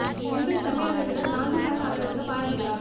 மும்பை தமிழ் அமைப்புகள் நாஞ்சில் நாடன் அவர்களுக்கு பாராட்டு விழா